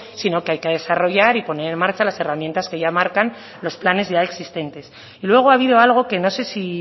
sino que hay que desarrollar y poner en marcha las herramientas que ya marcan los planes ya existentes y luego ha habido algo que no sé si